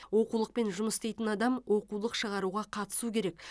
оқулықпен жұмыс істейтін адам оқулық шығаруға қатысу керек